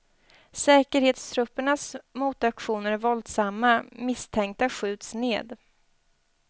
Säkerhetstruppernas motaktioner är våldsamma, misstänkta skjuts ned.